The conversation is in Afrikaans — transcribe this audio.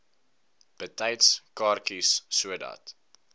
betyds kaartjies sodat